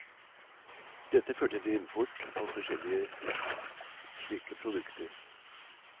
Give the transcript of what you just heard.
Dette førte til import av forskjellige slike produkter.